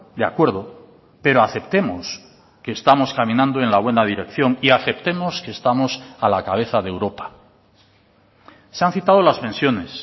de acuerdo pero aceptemos que estamos caminando en la buena dirección y aceptemos que estamos a la cabeza de europa se han citado las pensiones